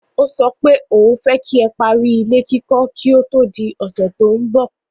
Ó sọ pé òun fẹ́ kí parí ilé kíkọ́ kí ó tó di ọ̀sẹ̀ tó ń bọ̀.